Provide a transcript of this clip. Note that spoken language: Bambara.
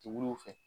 Tɛ wuli u fɛ